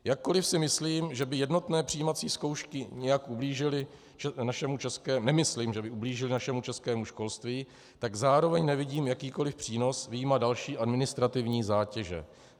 Jakkoliv si nemyslím, že by jednotné přijímací zkoušky nějak ublížily našemu českému školství, tak zároveň nevidím jakýkoliv přínos vyjma další administrativní zátěže.